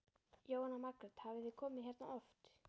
Jóhanna Margrét: Hafið þið komið hérna oft?